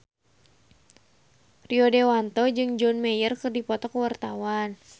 Rio Dewanto jeung John Mayer keur dipoto ku wartawan